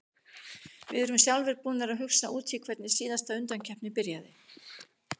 Við erum sjálfir búnir að hugsa út í hvernig síðasta undankeppni byrjaði.